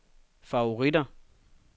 favoritter